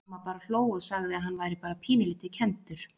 Mamma bara hló og sagði að hann væri bara pínulítið kenndur.